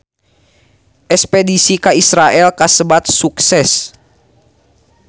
Espedisi ka Israel kasebat sukses